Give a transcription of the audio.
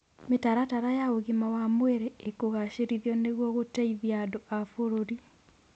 Mĩtaratara ya ũgima wa mwĩrĩ ĩkũgacĩrithio nĩguo gũteithia andũ a bũrũri.